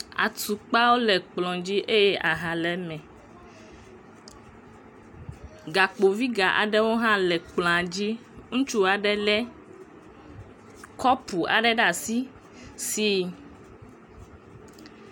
Asi woame eve ɖewo le cupu, cupu me la, cofi le eme. Keki hã le plati ɖe dzi le fima. Koins ɖewo tse kaka ɖe kplɔa dzi eye ati kutsetse aɖewo hã kaka ɖe kplɔa dzi. Agbalẽ gã ɖeka le fima kple vitɔ ɖeka kle ati tukui ɖe le flowɔ pɔt me